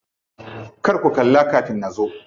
Kar ku kalla kafin nazo.